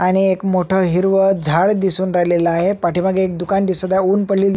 आणि एक मोठ हिरव झाड दिसून राहिलेल आहे पाठीमागे एक दुकान दिसत आहे उन पडलेली--